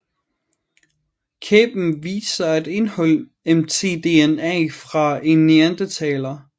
Kæben viste sig at indeholde mtDNA fra en neandertaler